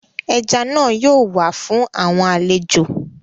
Eja naa yoo wa fun awọn alejo